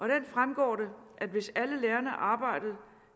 den fremgår det at hvis alle lærerne arbejdede